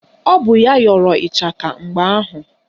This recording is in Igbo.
Ọ bụ ya yọrọ ịchaka mgbe ahụ